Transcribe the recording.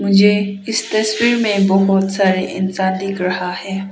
मुझे इस तस्वीर में बहुत सारे इंसान दिख रहा है।